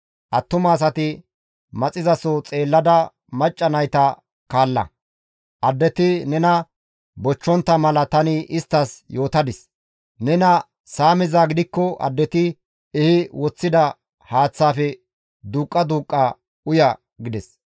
Attuma asati maxizaso xeellada macca nayta kaalla; addeti nena bochchontta mala tani isttas yootadis; nena saamizaa gidikko addeti ehi woththida haaththaafe duuqqa duuqqa uya» gides.